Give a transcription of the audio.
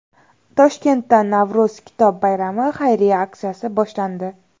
Toshkentda Navro‘z kitob bayrami xayriya aksiyasi boshlandi.